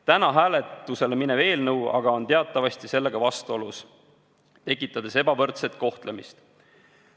Täna hääletusele minev eelnõu aga on teatavasti sellega vastuolus, tekitades ebavõrdset kohtlemist.